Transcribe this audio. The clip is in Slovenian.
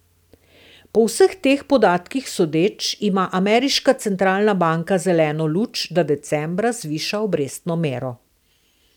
Po vseh teh podatkih sodeč, ima ameriška centralna banka zeleno luč, da decembra zviša obrestno mero.